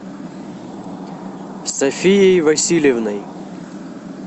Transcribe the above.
софией васильевной